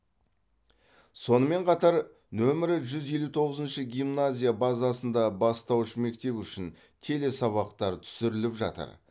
сонымен қатар нөмірі жүз елу тоғызыншы гимназия базасында бастауыш мектеп үшін телесабақтар түсіріліп жатыр